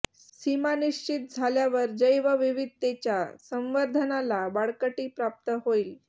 सीमा निश्चित झाल्यावर जैवविविधतेच्या संवर्धनाला बळकटी प्राप्त होईल